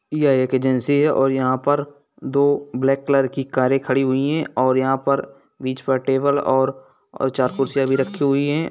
यह एक एजेंसी है और यहाँ पर दो ब्लैक कलर की कारें खड़ी हुई है और यहाँ पर बीच में टेबल और चार कुर्सियाँ रखी हुई है।